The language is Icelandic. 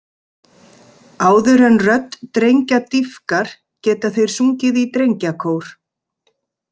Áður en rödd drengja dýpkar geta þeir sungið í drengjakór.